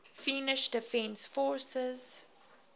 finnish defence forces